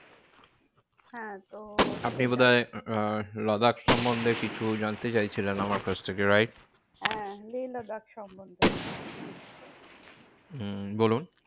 হ্যাঁ তো আপনি বোধহয় আহ লাদাখ সন্বন্ধে কিছু জানতে চাইছিলেন আমার কাছ থেকে right? হ্যাঁ লেহ লাদাখ সন্বন্ধে হম বলুন